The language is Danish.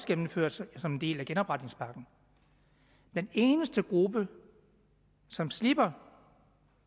gennemført som en del af genopretningspakken den eneste gruppe som slipper